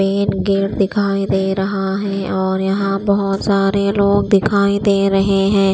Main gate दिखाई दे रहा है और यहां बहोत सारे लोग दिखाई दे रहे हैं।